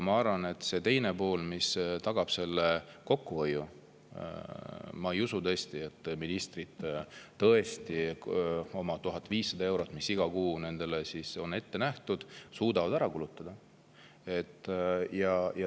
Ma arvan, et see tagab kokkuhoiu, sest ma ei usu, et ministrid tõesti suudavad 1500 eurot, mis iga kuu nendele on ette nähtud, ära kulutada.